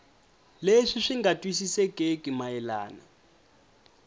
leswi swi nga twisisekeki mayelana